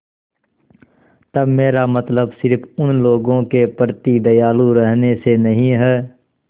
तब मेरा मतलब सिर्फ़ उन लोगों के प्रति दयालु रहने से नहीं है